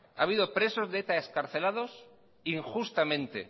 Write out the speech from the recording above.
ha habido presos de eta excarcelados injustamente